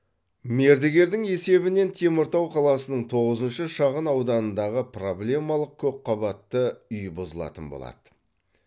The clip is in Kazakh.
мердігердің есебінен теміртау қаласының тоғызыншы шағын ауданындағы проблемалық көпқабатты үй бұзылатын болады